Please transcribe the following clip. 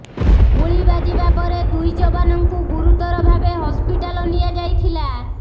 ଗୁଳି ବାଜିବା ପରେ ଦୁଇ ଯବାନଙ୍କୁ ଗୁରୁତର ଭାବେ ହସ୍ପିଟାଲ ନିଆଯାଇଥିଲା